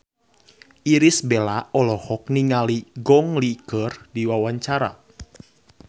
Irish Bella olohok ningali Gong Li keur diwawancara